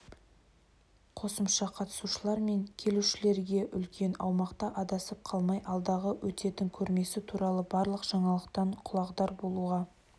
қосымша қатысушылар мен келушілерге үлкен аумақта адасып қалмай алдағы өтетін көрмесі туралы барлық жаңалықтан құлағдар болуға